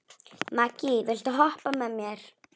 Maggý, viltu hoppa með mér?